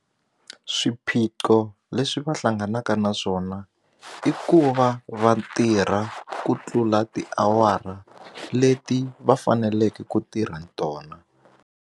Swiphiqo leswi va hlanganaka na swona i ku va va tirha ku tlula tiawara leti va faneleke ku tirha tona.